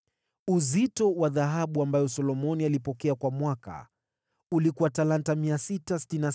Uzito wa dhahabu ambayo Solomoni alipokea kwa mwaka ulikuwa talanta 666,